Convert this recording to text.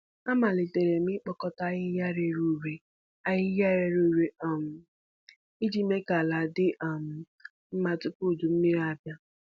Amalitere m ịkpokōta ahịhịa rere ure ahịhịa rere ure um iji mee ka ala dị um mma tupu udummiri abịa.